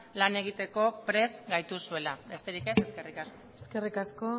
lan egiteko prest gaituzuela besterik ez eskerrik asko eskerrik asko